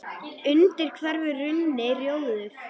undir hverfur runni, rjóður